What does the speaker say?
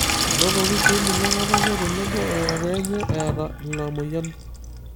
enotoki sii ninye ng'otonye tenebo o kokoo enye eeta ina moyian.